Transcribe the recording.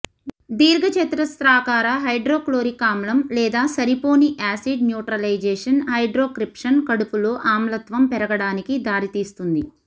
దీర్ఘచతురస్రాకార హైడ్రోక్లోరిక్ ఆమ్లం లేదా సరిపోని యాసిడ్ న్యూట్రలైజేషన్ హైడ్రోక్రిప్షన్ కడుపులో ఆమ్లత్వం పెరగడానికి దారితీస్తుంది